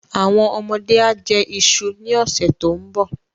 Àwọn ọmọdé á jẹ iṣu ní ọ̀sẹ̀ tó ń bọ̀.